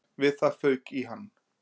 Við það fauk í hann